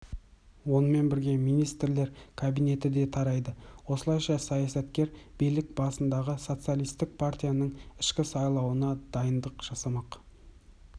онымен бірге министрлер кабинеті де тарайды осылайша саясаткер билік басындағы социалистік партияның ішкі сайлауына дайындық жасамақ